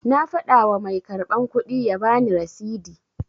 Na fada wa mai karban kudi ya bani rasidi